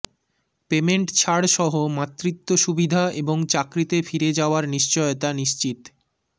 payment ছাড়সহ মাতৃত্ব সুবিধা এবং চাকরিতে ফিরে যাওয়ার নিশ্চয়তা নিশ্চিত